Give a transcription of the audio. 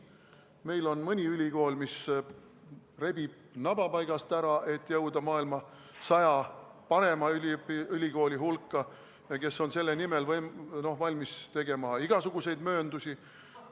Meil on mõni ülikool, mis rebib naba paigast ära, et jõuda maailma 100 parima ülikooli hulka ja on selle nimel valmis tegema igasuguseid mööndusi.